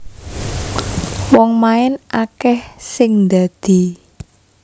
Wong main akeh sing ndadi